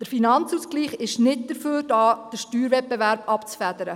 Der Finanzausgleich ist nicht dafür da, den Steuerwettbewerb abzufedern.